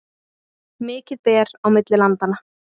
Mikið ber á milli landanna